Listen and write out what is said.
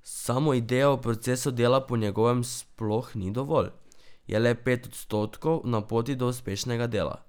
Samo ideja v procesu dela po njegovem sploh ni dovolj, je le pet odstotkov na poti do uspešnega dela.